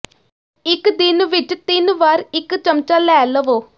ਇਕ ਦਿਨ ਵਿਚ ਤਿੰਨ ਵਾਰ ਇਕ ਚਮਚਾ ਲੈ ਲਵੋ